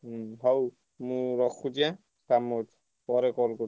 ହୁଁ ହଉ ମୁଁ ରଖୁଛି ଏଁ କାମ ଅଛି ପରେ call କରୁଛି।